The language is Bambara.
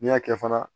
N'i y'a kɛ fana